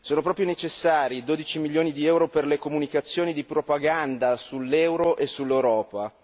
Sono proprio necessari 12 milioni di euro per le comunicazioni di propaganda sull'euro e sull'Europa?